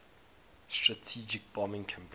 strategic bombing campaign